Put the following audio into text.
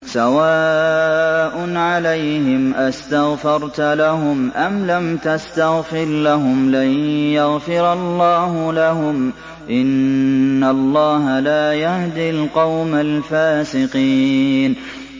سَوَاءٌ عَلَيْهِمْ أَسْتَغْفَرْتَ لَهُمْ أَمْ لَمْ تَسْتَغْفِرْ لَهُمْ لَن يَغْفِرَ اللَّهُ لَهُمْ ۚ إِنَّ اللَّهَ لَا يَهْدِي الْقَوْمَ الْفَاسِقِينَ